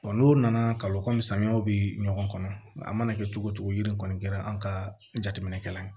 n'o nana kabako samiyaw bɛ ɲɔgɔn kɔnɔ a mana kɛ cogo cogo yiri in kɔni kɛra an ka jateminɛkɛla ye